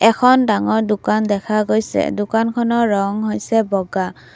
এখন ডাঙৰ দোকান দেখা গৈছে দোকানখনৰ ৰং হৈছে বগা।